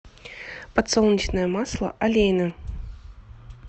подсолнечное масло олейна